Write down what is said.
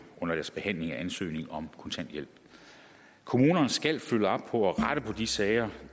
under deres behandling af ansøgning om kontanthjælp kommunerne skal følge op på at rette på de sager